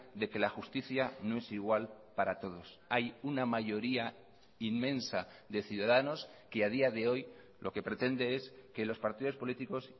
de que la justicia no es igual para todos hay una mayoría inmensa de ciudadanos que a día de hoy lo que pretende es que los partidos políticos